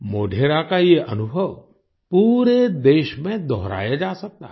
मोढेरा का ये अनुभव पूरे देश में दोहराया जा सकता है